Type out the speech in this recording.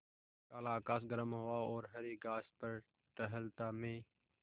काला आकाश गर्म हवा और हरी घास पर टहलता मैं